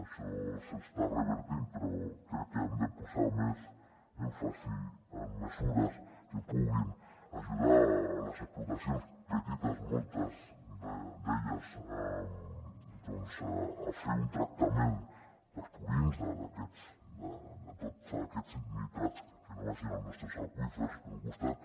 això s’està revertint però crec que hem de posar més èmfasi en mesures que puguin ajudar les explotacions petites moltes d’elles doncs a fer un tractament dels purins de tots aquests nitrats perquè no vagin als nostres aqüífers per un costat